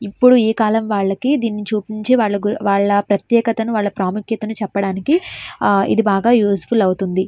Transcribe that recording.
ఇప్పుడు ఈ కాలం వాళ్లకి దీన్ని చూపించి వాళ్ల ప్రత్యేకతను వాళ్ల ప్రాముఖ్యతను చెప్పడానికి ఇది బాగా యూస్ ఫుల్ అవుతుంది.